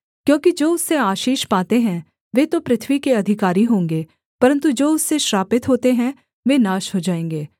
क्योंकि जो उससे आशीष पाते हैं वे तो पृथ्वी के अधिकारी होंगे परन्तु जो उससे श्रापित होते हैं वे नाश हो जाएँगे